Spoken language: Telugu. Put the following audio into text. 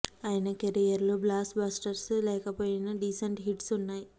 ఆయన కెరీర్ లో బ్లాస్ బస్టర్స్ లేకపోయినా డీసెంట్ హిట్స్ ఉన్నాయి